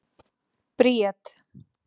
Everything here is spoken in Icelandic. Bríet